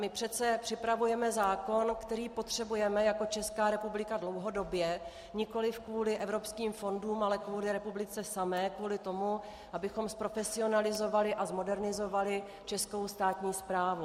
My přece připravujeme zákon, který potřebujeme jako Česká republika dlouhodobě, nikoliv kvůli evropským fondům, ale kvůli republice samé, kvůli tomu, abychom zprofesionalizovali a zmodernizovali českou státní správu.